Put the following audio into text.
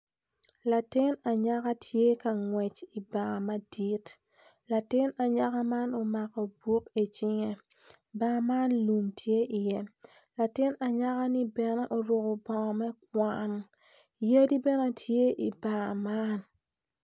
Latin anyaka tye ka ngwec i bar madit latin anyaka man omako buk icinge bar man lum tye iye latin anyaka ni bene oruku bongo me kwan yadi bene tye i bar man